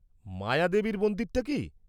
-মায়াদেবীর মন্দিরটা কী?